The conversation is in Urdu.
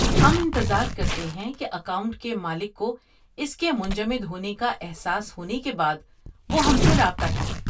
ہم انتظار کرتے ہیں کہ اکاؤنٹ کے مالک کو اس کے منجمد ہونے کا احساس ہونے کے بعد وہ ہم سے رابطہ کرے۔